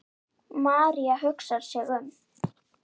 María hugsar sig um.